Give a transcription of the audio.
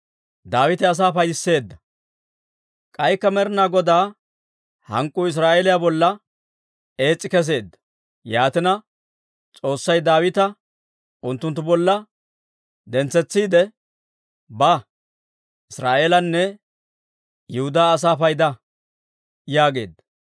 K'aykka Med'inaa Godaa hank'k'uu Israa'eeliyaa bolla ees's'i kesseedda; yaatina, S'oossay Daawita unttunttu bolla dentsetsiide, «Ba; Israa'eelanne Yihudaa asaa payda» yaageedda.